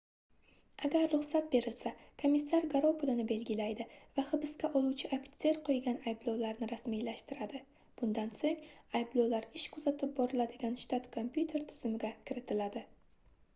agar ruxsat berilsa komissar garov pulini belgilaydi va hibsga oluvchi ofitser qoʻygan ayblovlarni rasmiylashtiradi bundan soʻng ayblovlar ish kuzatib boriladigan shtat kompyuter tizimiga kiritiladi